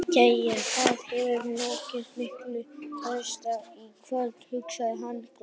Jæja, það hefur nógu mikið ræst í kvöld, hugsar hann glaður.